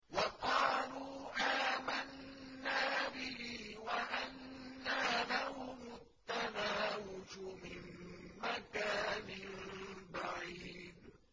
وَقَالُوا آمَنَّا بِهِ وَأَنَّىٰ لَهُمُ التَّنَاوُشُ مِن مَّكَانٍ بَعِيدٍ